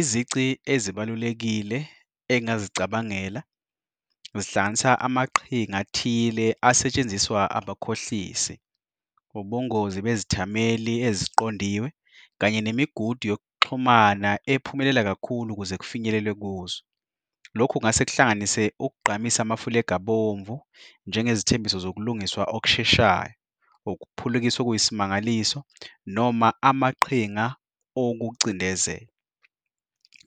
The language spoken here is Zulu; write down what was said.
Izici ezibalulekile engingazicabangela zihlanganisa amaqhinga athile asetshenziswa abakhohlisi, ubungozi bezithameli eziqondiwe kanye nemigudu yokuxhumana ephumelela kakhulu ukuze kufinyelelwe kuzo. Lokhu kungase kuhlanganise ukugqamisa amafulegi abomvu njengezithembiso zokulungiswa okusheshayo, ukuphulukiswa okuyisimangaliso, noma amaqhinga okucindezela.